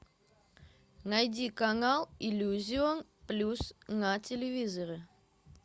найди канал иллюзион плюс на телевизоре